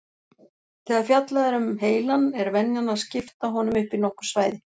Þegar fjallað er um heilann er venjan að skipta honum upp í nokkur svæði.